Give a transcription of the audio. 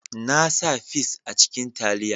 Na sa fis a cikin taliya